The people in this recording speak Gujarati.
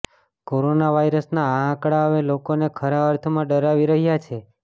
કોરોના વાયરસના આ આંકડા હવે લોકોને ખરા અર્થમાં ડરાવી રહ્યા છે